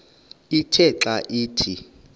ithe xa ithi